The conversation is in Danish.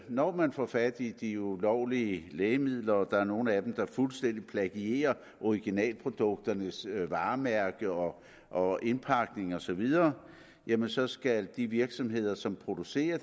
når man får fat i de ulovlige lægemidler og der er nogle af dem der fuldstændig plagierer originalprodukternes varemærke og og indpakning og så videre jamen så skal de virksomheder som producerer